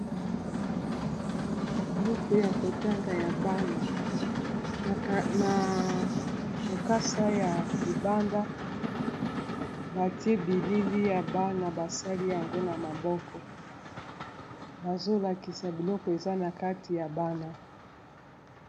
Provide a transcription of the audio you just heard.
buku ya kotanga ya bana na lokasa ya libanda batie bilili ya bana basali yango na maboko bazolakisa biloko eza na kati ya bana